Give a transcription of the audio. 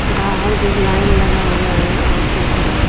बाहर भी लाइन लगा हुआ है औरतों का।